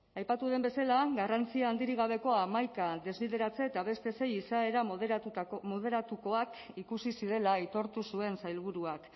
aipatu den bezala garrantzi handirik gabeko hamaika desbideratze eta beste sei izaera moderatuak ikusi zirela aitortu zuen sailburuak